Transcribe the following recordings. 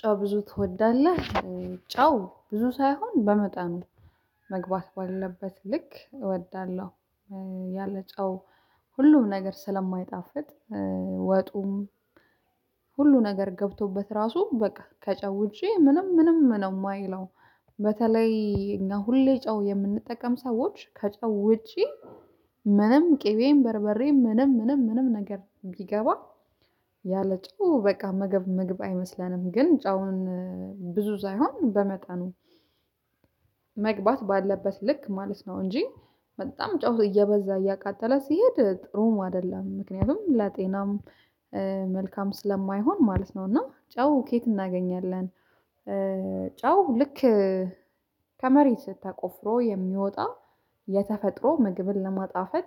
ጨው ብዙ ትወዳለህ ጨው ብዙ ሳይሆን በመጠኑ መግባት ባለበት ልክ እወዳለሁ። ያለ ጨው ሁሉም ነገር ስለማይጣፍጥ ወጡም። ሁሉ ነገር ገብቶበት ራሱ በቃ ከጨው ውጬ ምንም ምንም ነው የማይለው። በተለይ እኛ ሁሌ ጨው የምንጠቀም ሰዎች ከጨው ውጪ ምንም ቅቤን በርበሬን ምንም ምንም ምንም ነገር ቢገባ። ያለ ጨው በቃ መገብ መግብ አይመስለንም። ግን ጫውን ብዙ ሳይሆን በመጠኑ መግባት ባለበት ልክ ማለት ነው። እንጂ በጣም ጫው እየበዛ እያቃጠለ ሲሄድ ጥሩም አይደለም። ምክንያቱም ለጤናም መልካም ስለማይሆን ማለት ነው። እና ጫው ከየት እናገኛለን? ጫው ልክ ከመሬት ተቆፍሮ የሚወጣ የተፈጥሮ ምግብን ለማጣፈጥ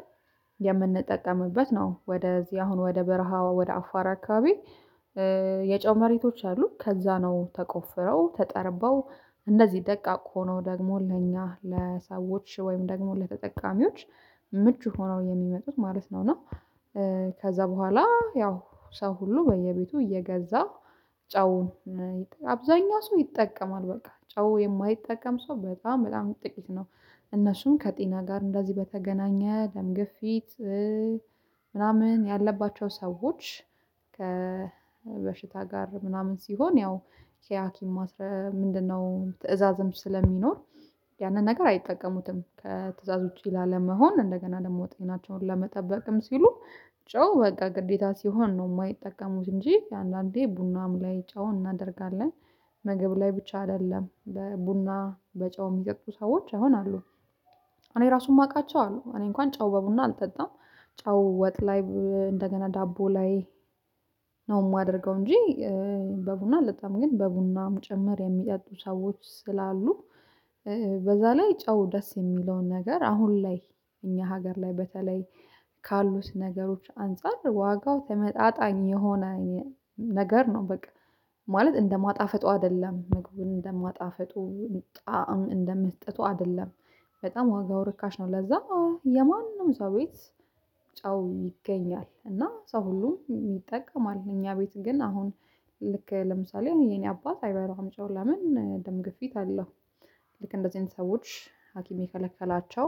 የምንጠቀምበት ነው። ወደዚህ አሁን ወደ በረሃዋ ወደ አፋራ አካባቢ። የጨው መሬቶች አሉ ከዛ ነው ተቆፍረው ተጠርበው እንደዚህ ደቃቅ ሆኖ ደግሞ ለኛ ለሰዎች ወይም ደግሞ ለተጠቃሚዎች ምቹ ሆነው የሚመጡት ማለት ነው። እና ከዛ በኋላ ያው ሰው ሁሉ በየቤቱ እየገዛ ጨውን አብዛኛ ሰው ይጠቀማል በቃ ጨው የማይጠቀም ሰው በጣም በጣም ጥቂት ነው። እነሱን ከጤና ጋር እንደዚህ በተገናኘ ደም ግፊት ምናምን ያለባቸው ሰዎች ከበሽታ ጋር ምናምን ሲሆን ያው የሃኪም ምንድነው ትእዛዝም ስለሚኖር። ያንን ነገር አይጠቀሙትም በትእዛዞች ላለመሆን እንደገና ለመውጣት ሁኔታቸውን ለመጠበቅም ሲሉ ጨው በቃ ግዴታ ሲሆን ነው የማይጠቀሙት። እንጂ አንዳንዴ ቡናም ላይ ጨው እናደርጋለን ምግብ ላይ ብቻ አይደለም። ቡና በጨው የሚጠጡ ሰዎች አሁን አሉ። እኔ ራሱም አውቃቸዋለሁ እኔ እንኳን ጨው በቡና አልጠጣም። ጨው ወጥ ላይ እንደገና ዳቦ ላይ ነው የማደርገው እንጂ። በቡና ለጣም ግን በቡናም ጭምር የሚጠጡ ሰዎች ስላሉ። በዛ ላይ ጨው ደስ የሚለውን ነገር አሁን ላይ እኛ ሀገር ላይ በተለይ ካሉት ነገሮች አንፃር ዋጋው ተመጣጣኝ የሆነ ነገር ነው በቃ ማለት እንደማጣፍጡ አይደለም ምግቡን እንደማጣፍጡ ጣዕም እንደመስጠቱ አይደለም። በጣም ዋጋው ርካሽ ነው ለዛ የማንም ሰው ቤት ጨው ይገኛል እና ሰው ሁሉ ይጠቀማል። እኛ ቤት ግን አሁን ልክ ለምሳሌ የኔ አባት አይበላም አምጪው ለምን ደም ግፊት አለው። ልክ እንደዚህ አይነት ሰዎች ሀኪም የከለከላቸው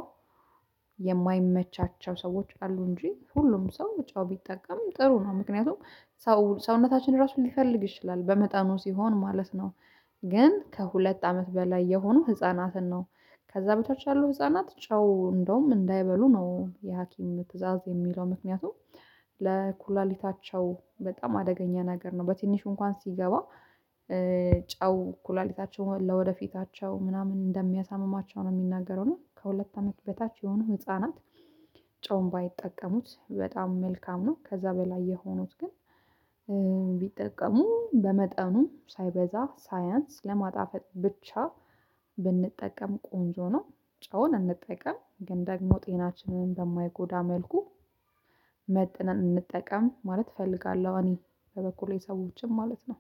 የማይመቻቸው ሰዎች አሉ እንጂ ሁሉም ሰው ጫው ቢጠቀም ጥሩ ነው። ምክንያቱም ሰው ሰውነታችን ራሱን ሊፈልግ ይችላል በመጠኑ ሲሆን ማለት ነው። ግን ከሁለት አመት በላይ የሆኑ ህፃናትን ነው። ከዛ በተች ያሉ ህፃናት ጨው እንደውም እንዳይበሉ ነው የሀኪም ትእዛዝ የሚለው ምክንያቱም ለኩላሊታቸው በጣም አደገኛ ነገር ነው በትንሽ እንኳን ሲገባ። ጨው ኩላሊታቸው ለወደፊታቸው ምናምን እንደሚያሳምማቸው ነው የሚናገረው። እና ከሁለት አመት በታች የሆኑ ህፃናት ጨውን ባይጠቀሙት በጣም መልካም ነው። ከዛ በላይ የሆኑት ግን ቢጠቀሙ በመጠኑም ሳይበዛ ሳያንስ ለማጣፈጥ ብቻ ብንጠቀም ቆንጆ ነው። ጨውን እንጠቀም ግን ደግሞ ጤናችንን በማይጎዳ መልኩ መጠን እንጠቀም ማለት እፈልጋለሁ። እኔ በበኩሌ ሰዎችም ማለት ነው።